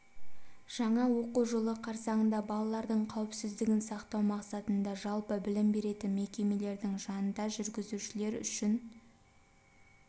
жаңа оқу жылы қарсаңында балалардың қауіпсіздігін сақтау мақсатында жалпы білім беретін мекемелердің жанында жүргізушілер үшін км